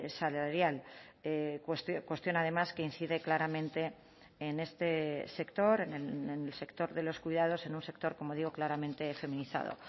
salarial cuestión además que incide claramente en este sector en el sector de los cuidados en un sector como digo claramente feminizado